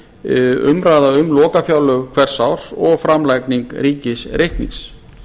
umræða um lokafjárlög hvers árs og framlagning ríkisreiknings